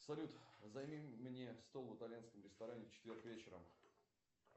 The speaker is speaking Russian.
салют займи мне стол в итальянском ресторане в четверг вечером